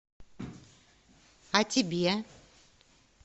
а тебе